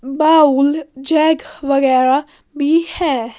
Bowl jug वगैरा भी है।